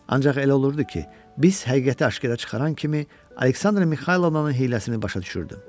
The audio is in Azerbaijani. Ancaq elə olurdu ki, biz həqiqəti aşkara çıxaran kimi Aleksandra Mixaylovnanın hiyləsini başa düşürdüm.